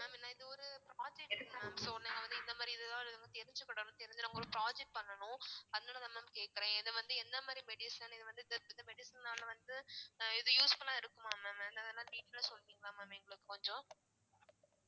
இது ஒரு project mam so இந்த இந்த மாறி இதுலா தெரிஞ்சுக்கணும் தெரிஞ்சு~ நாங்க ஒரு project பண்ணணும் அதனாலதான் mam கேக்கறேன் இது வந்து என்ன மாதிரி medicine இது வந்து இந்த medicine னால வந்து இது useful ஆ இருக்குமா mam detail ஆ சொல்றிங்களா mam எங்களுக்கு கொஞ்சம்